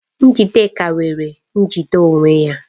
Njidenka nwere njide onwe ya